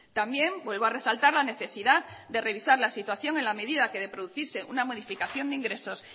también vuelvo a resaltar la necesidad de revisar la situación en la medida que de producirse una modificación de ingresos